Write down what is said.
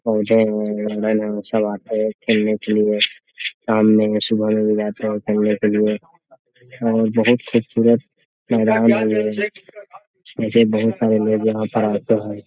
सब आते हैं खेलने के लिए शाम में सुबह में भी आते है और खेलने के लिए और बहुत खूबसूरत मैदान है यहाँ ऐसे बहुत सारे लोग यहाँ पर आते हैं। .